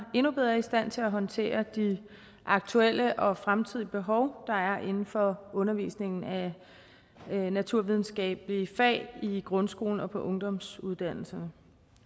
endnu bedre i stand til at håndtere de aktuelle og fremtidige behov der er inden for undervisningen af naturvidenskabelige fag i grundskolen og på ungdomsuddannelserne